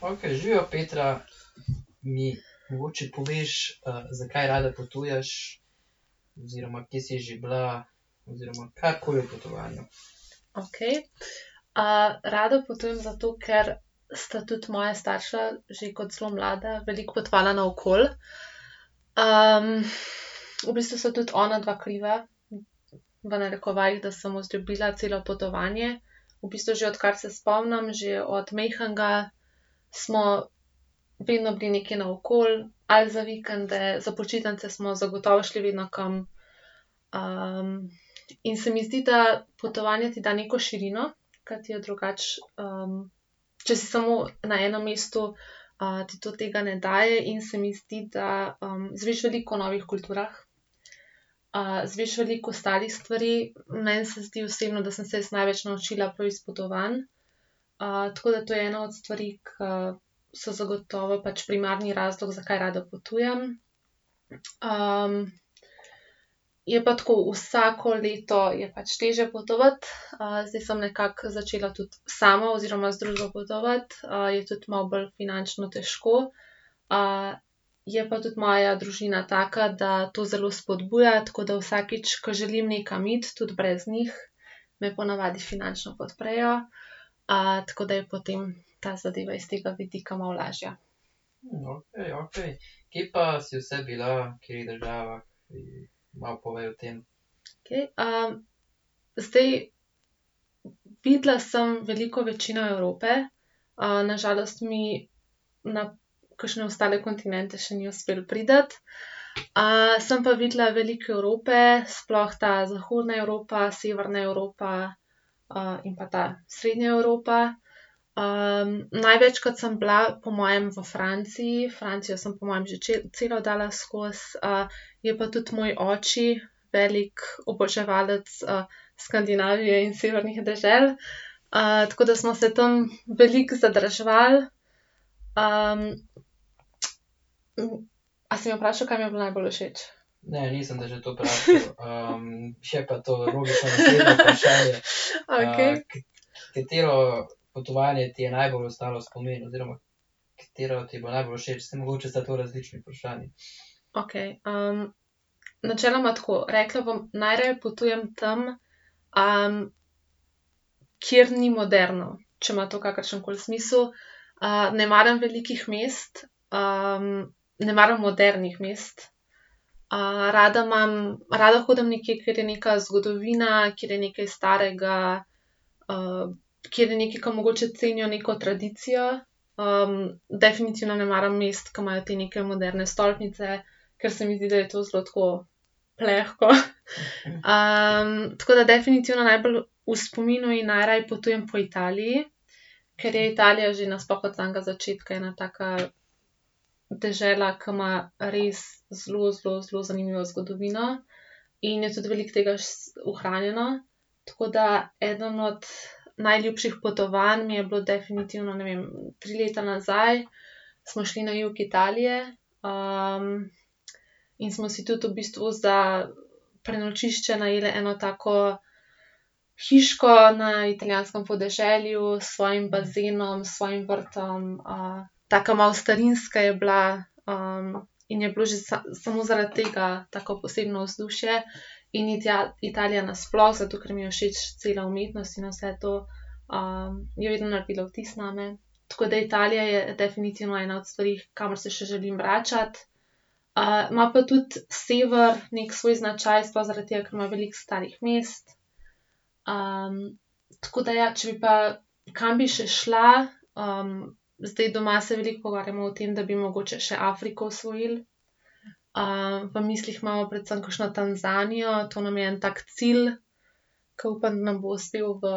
Okej. rada potujem zato, ker sta tudi moja starša že kot zelo mlada veliko potovala naokoli. v bistvu sta tudi onadva kriva, v narekovajih, da sem vzljubila celo potovanje. V bistvu že odkar se spomnim, že od majhnega, smo vedno bili nekje naokoli, ali za vikende, za počitnice smo zagotovo šli vedno kam. in se mi zdi, da potovanje ti da neko širino, ki ti jo drugače, če si samo na enem mestu, ti to tega ne daje in se mi zdi, da, izveš veliko o novih kulturah, izveš veliko ostalih stvari. Meni se zdi osebno, da sem se jaz največ naučila prav iz potovanj. tako da to je ena od stvari, ke so zagotovo pač primarni razlog, zakaj rada potujem. je pa tako, vsako leto je pač težje potovati. zdaj sem nekako začela tudi sama oziroma z družbo potovati, je tudi malo bolj finančno težko. je pa tudi moja družina taka, da to zelo spodbuja, tako da vsakič, ko želim nekam iti, tudi brez njih, me po navadi finančno podprejo. tako da je potem ta zadeva iz tega vidika malo lažja. Okej. zdaj, videla sem veliko večino Evrope. na žalost mi na kakšne ostale kontinente še ni uspelo priti. sem pa videla veliko Evrope, sploh ta zahodna Evropa, severna Evropa, in pa ta, srednja Evropa. največkrat sem bila po mojem v Franciji, Francijo sem po mojem že celo dala skozi. je pa tudi moj oči veliko oboževalec, Skandinavije in severnih dežel, tako da smo se tam veliko zadrževali. a si me vprašal, kaj mi je bilo najbolj všeč? Okej. Okej. načeloma tako. Rekla bom, najraje potujem tam, kjer ni moderno, če ima to kakršenkoli smisel. ne maram velikih mest, ne maram modernih mest. rada imam, rada hodim nekje, kjer je neka zgodovina, kjer je nekaj starega, kjer je nekaj, ke mogoče cenijo neko tradicijo. definitivno ne maram mest, ke imajo te neke moderne stolpnice, ker se mi zdi, da je to zelo tako, plehko. tako da definitivno najbolj v spominu in najraje potujem po Italiji, ker je Italija že nasploh od samega začetka ena taka dežela, ki ima res zelo, zelo, zelo zanimivo zgodovino in je tudi veliko tega ohranjeno. Tako da eden od najljubših potovanj mi je bilo definitivno, ne vem, tri leta nazaj smo šli na jug Italije, in smo si tudi v bistvu za prenočišče najeli eno tako hiško na italijanskem podeželju s svojim bazenom, s svojim vrtom, taka malo starinska je bila. in je bilo že samo zaradi tega tako posebno vzdušje. In Italija nasploh, zato ker mi je všeč cela umetnost in vse to, je vedno naredila vtis name. Tako da Italija je definitivno ena od stvari, kamor se še želim vračati. ima pa tudi sever neki svoj značaj, sploh zaradi tega, ker ima veliko starih mest. tako da ja, če bi pa, kam bi še šla, zdaj doma se veliko pogovarjamo o tem, da bi mogoče še Afriko osvojili. v mislih imamo predvsem kakšno Tanzanijo, to nam je en tak cilj, ke upam, da nam bo uspel v